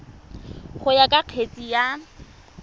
go ya ka kgetse ka